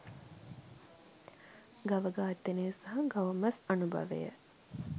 ගව ඝාතනය සහ ගව මස් අනුභවය